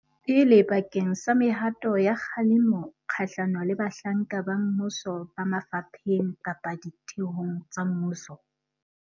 pele bakeng sa mehato ya kgalemo kgahlano le bahlanka ba mmuso ba mafapheng kapa ditheong tsa mmuso.